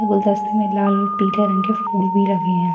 ये गुलदस्ते में लाल और पीले रंग के फूल भी लगी है |